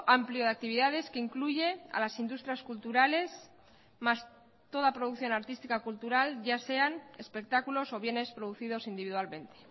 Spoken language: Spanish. amplio de actividades que incluye a las industrias culturales más toda producción artística cultural ya sean espectáculos o bienes producidos individualmente